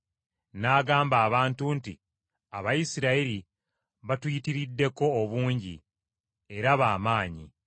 N’agamba abantu be nti, “Abayisirayiri batuyitiriddeko obungi era ba maanyi.